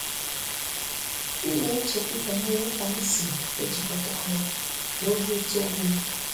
M na-echekwu banyere ka m si ejikọta ọrụ na obi ụtọ onwe m.